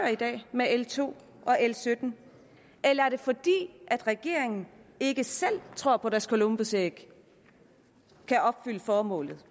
med l to og l 17 eller er det fordi regeringen ikke selv tror på at deres columbusæg kan opfylde formålet